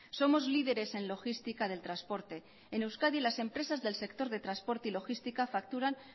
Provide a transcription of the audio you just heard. somos líderes en logística del transporte en euskadi las empresas del sector de transporte y logística facturan